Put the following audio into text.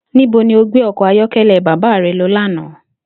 Níbo ni o gbé o̩kò̩ ayó̩ké̩lé̩ bàbá re̩ lo̩ lánàá?